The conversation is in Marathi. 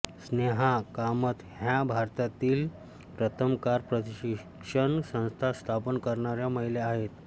स्नेहा कामत ह्या भारतातील प्रथम कार प्रशिक्षण संस्था स्थापन करणाऱ्या महिला आहेत